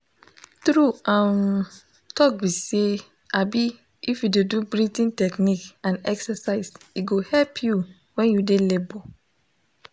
true um talk be say um if u de do breathing techniques and exercise e go help you when you de labour